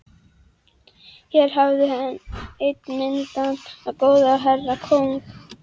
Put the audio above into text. Þér hafið einn mildan og góðan herra og kóng.